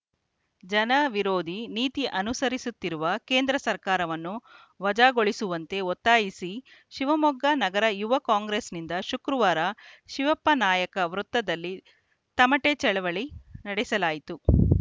ಜನವಿರೋಧಿ ನೀತಿ ಅನುಸರಿಸುತ್ತಿರುವ ಕೇಂದ್ರ ಸರ್ಕಾರವನ್ನು ವಜಾಗೊಳಿಸುವಂತೆ ಒತ್ತಾಯಿಸಿ ಶಿವಮೊಗ್ಗ ನಗರ ಯುವ ಕಾಂಗ್ರೆಸ್‌ನಿಂದ ಶುಕ್ರವಾರ ಶಿವಪ್ಪನಾಯಕ ವೃತ್ತದಲ್ಲಿ ತಮಟೆ ಚಳವಳಿ ನಡೆಸಲಾಯಿತು